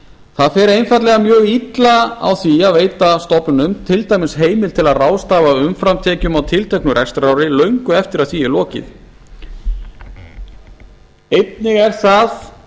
það fer einfaldlega mjög illa á því að veita stofnunum til dæmis heimild til að ráðstafa umframtekjum á tilteknu rekstrarári löngu eftir að því er lokið einnig er það